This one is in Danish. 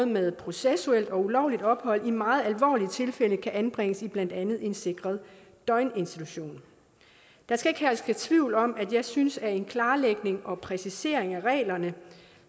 med processuelt og ulovligt ophold i meget alvorlige tilfælde kan anbringes i blandt andet en sikret døgninstitution der skal ikke herske tvivl om at jeg synes at en klarlægning og præcisering af reglerne